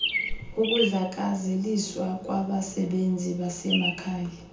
ukudlakazeliswa kwabasebenzi basemakhaya